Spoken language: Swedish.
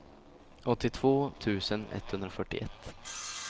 åttiotvå tusen etthundrafyrtioett